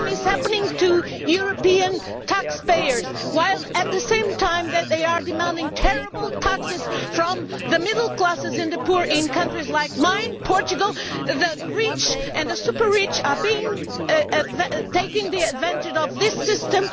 The same is happening to European taxpayers while, at the same time as they are demanding terrible taxes from the middle classes and the poor in countries like mine, Portugal, the rich and the super rich are taking advantage of this system.